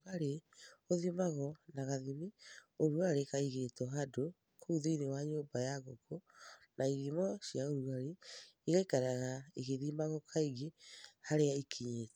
Urugarĩ ũthimagwo na gathimi-ũrugarĩ kaigĩtwo handũ kũu thĩinĩ wa nyũmba ya ngũkũ na ithimo cia ũrugarĩ igaikaraga igĩthomagwo kaingĩ harĩa ikinyĩte.